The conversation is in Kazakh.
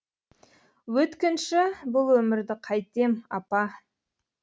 өткінші бұл өмірді қайтем апа